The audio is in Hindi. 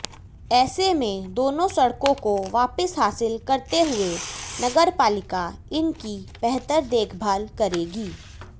ऐसे में दोनों सड़कों को वापस हासिल करते हुए नगरपालिका इन की बेहतर देखभाल करेगी